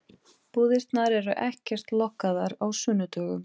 Búðirnar eru ekkert lokaðar á sunnudögum.